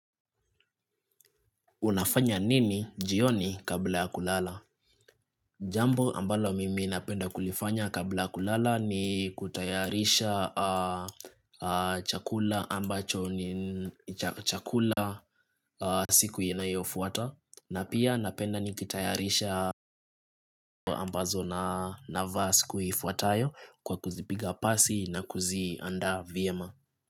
Unafanya nini jioni kabla ya kulala? Jambo ambalo mimi napenda kulifanya kabla kulala ni kutayarisha chakula ambacho ni chakula siku inayofuata. Na pia napenda nikitayarisha ambazo na navaa siku ifuatayo kwa kuzipiga pasi na kuzianda vyema.